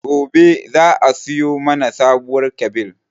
Gobe za a siyo mana sabuwar kyabil